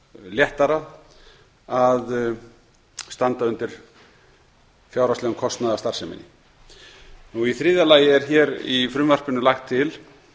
léttara að standa undir fjárhagslegum kostnaði af starfseminni í þriðja lagi er í frumvarpinu lagt til